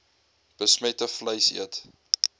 besmette vleis eet